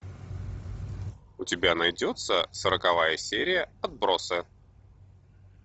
у тебя найдется сороковая серия отбросы